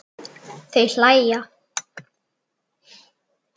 Þau hlæja.